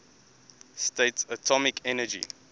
states atomic energy